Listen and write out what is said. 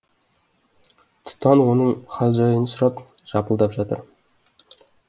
тұтан оның хал жайын сұрап жалпылдап жатыр